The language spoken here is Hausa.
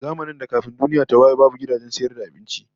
Zamanin da kafin duniya ta waye babu gidajen sayar da abinci